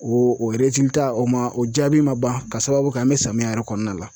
O o ma, o jaabi ma ban ka sababu kɛ an be samiya yɛrɛ kɔnɔna la.